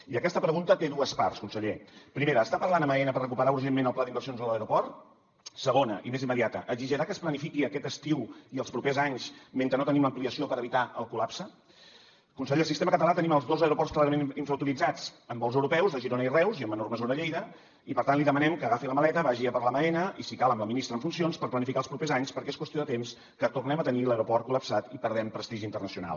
i aquesta pregunta té dues parts conseller primera està parlant amb aena per recuperar urgentment el pla d’inversions de l’aeroport segona i més immediata exigirà que es planifiqui aquest estiu i els propers anys mentre no tenim l’ampliació per evitar el col·lapse conseller al sistema català tenim els dos aeroports clarament infrautilitzats amb vols europeus a girona i reus i en menor mesura a lleida i per tant li demanem que agafi la maleta vagi a parlar amb aena i si cal amb la ministra en funcions per planificar els propers anys perquè és qüestió de temps que tornem a tenir l’aeroport col·lapsat i perdem prestigi internacional